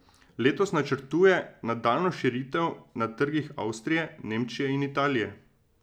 Letos načrtuje nadaljnjo širitev na trgih Avstrije, Nemčije in Italije.